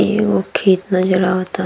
एगो खेत नज़र आवता।